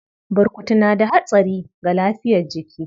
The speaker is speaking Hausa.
Burkutu na da hatsari ga lafiyar jiki.